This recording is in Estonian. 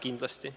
Kindlasti.